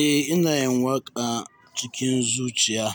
Eh, ina yin waƙa cikin zuciya